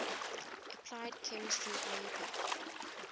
applied chemistry iupac